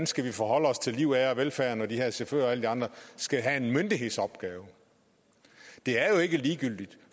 skal forholde os til liv ære og velfærd når de her chauffører og alle de andre skal have en myndighedsopgave det er jo ikke ligegyldigt